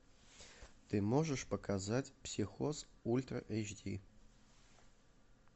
ты можешь показать психоз ультра эйч ди